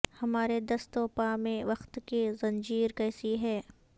ہمارے دست و پا میں وقت کی زنجیر کیسی ہے